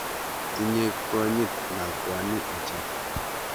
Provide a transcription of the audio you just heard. Tinye konyit lakwani ochei.